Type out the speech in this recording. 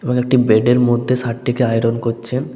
এবং একটি বেড -এর মধ্যে শার্ট -টিকে আয়রন করছেন।